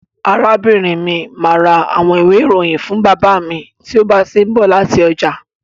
Arábìnrin mi máa ra àwọn ìwé-ìròyìn fún bàbá mi tí ó bá ti ń bọ̀ láti ọjà.